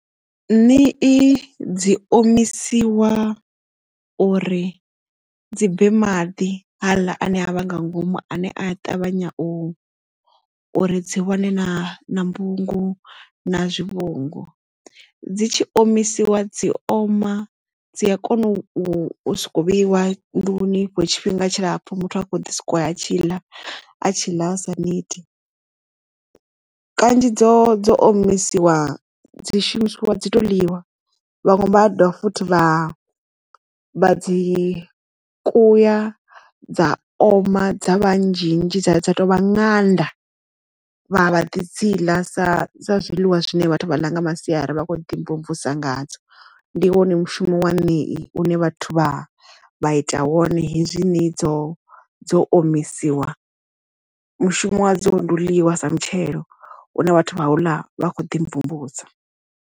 Ṋii dzi omisiwa uri dzi bve maḓi hasḽa ane a vha nga ngomu ane a ṱavhanya u uri dzi wane na na mbungu na zwivhungu dzi tshi omisiwa dzi oma dzi a kona u soko vheiwa nḓuni tshifhinga tshilapfu muthu a kho ḓi sikwa a tshi ḽa a tshi ḽa asa neti. Kanzhi dzo dzo omisiwa dzi shumisiwa dzi to ḽiwa vhaṅwe vha dovha futhi vha vha dzi kuya dza oma dza vhanzhi nnzhi dza dza to vha ṅanda vha vha ḓi dzi ḽa sa zwiḽiwa zwine vhathu vha ḽa nga masiari vha kho ḓi mvumvusa nga dzo ndi wone mushumo wa yeneyi hune vhathu vha vha ita wone hezwinoni dzo dzo omisiwa mushumo wa dzo ndi u ḽiwa sa mutshelo une vhathu vha hula vha kho ḓi mvumvusa.